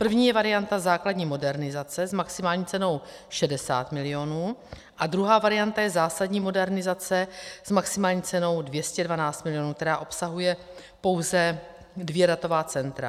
První je varianta základní modernizace s maximální cenou 60 milionů a druhá varianta je zásadní modernizace s maximální cenou 212 milionů, která obsahuje pouze dvě datová centra.